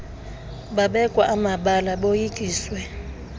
babekwa amabala boyikiswe